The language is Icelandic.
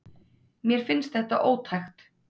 Mér finnst þetta ótækt.